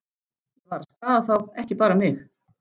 Ég var að skaða þá, ekki bara mig.